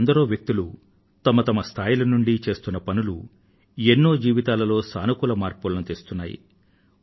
ఇలా ఎందరో వ్యక్తులు వారి వారి స్థాయిల నుండి చేస్తున్న పనులు ఎన్నో జీవితాలలో సానుకూల మార్పులను తెస్తున్నాయి